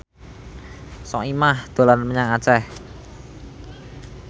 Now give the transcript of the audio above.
Soimah dolan menyang Aceh